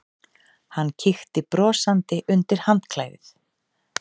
Hann kíkti brosandi undir handklæðið.